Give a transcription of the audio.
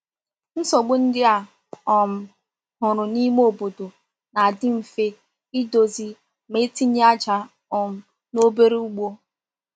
Nsogbu ndị a um hụrụ n’ime obodo na-adị mfe idozi ma e tinye aja um n’obere ugbo.